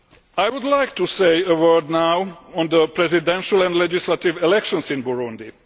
I would like to say a word now on the presidential and legislative elections in Burundi.